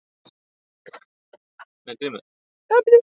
Hver einstakur atburður er nýr.